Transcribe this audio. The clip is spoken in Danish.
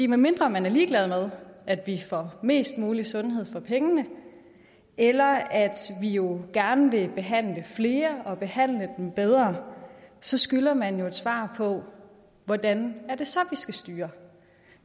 medmindre man er ligeglad med at vi får mest muligt sundhed for pengene eller at vi jo gerne vil behandle flere og behandle dem bedre så skylder man jo et svar på hvordan det så er skal styre